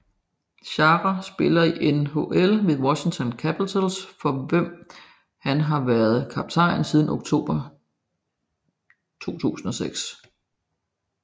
Chára spiller i NHL for Washington Capitals for hvem han har været kaptajn siden oktober 2006